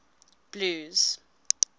blues